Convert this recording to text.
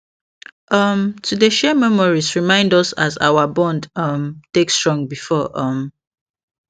um to dey share memories remind us as our bond um take strong before um